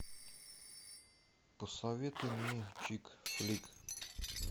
посоветуй мне чикфлик